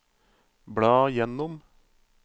bla gjennom